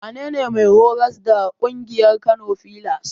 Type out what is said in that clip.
Wanene mai horas da ƙungiyar Kano filas?